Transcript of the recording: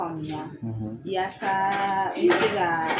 Faamuya; ; Yasaaa i b'ɛ se ka